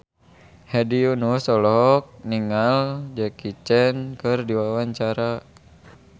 Hedi Yunus olohok ningali Jackie Chan keur diwawancara